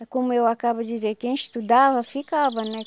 E como eu acabo de dizer, quem estudava, ficava, né?